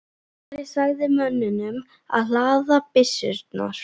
Ari sagði mönnunum að hlaða byssurnar.